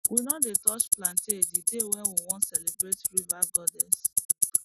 we no dey touch plantain the day wey we wan celebrate river goddess